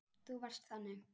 Þú varst þannig.